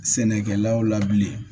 Sɛnɛkɛlaw la bilen